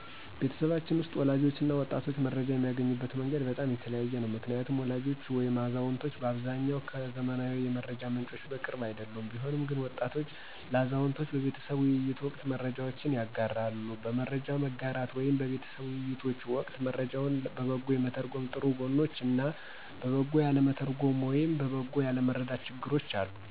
ቤተሰባችን ውስጥ ወላጆች እና ወጣቶች መረጃ የሚያገኙበት መንገድ በጣም የተለያየ ነው። ምክንያቱም ወላጆች ወይም አዛውንቶች በአብዛኛው ከዘመናዊ የመረጃ ምንጮች ቅርብ አይደሉም። ቢሆንም ግን ወጣቶች ለአዛውንቶች በቤተሰብ ውይይት ወቅት መረጃዎችን ያጋራሉ። በመረጃ መጋራት ወይም በቤተሰብ ውይይቶች ወቅት መረጃውን በበጎ የመተርጎም ጥሩ ጎኖች እና በበጎ ያለመተርጎም ወይም በበጎ ያለመረዳት ችግሮች አሉ።